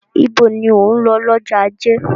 Ibo ni ò ń lọ lọ́jọ́ ajé?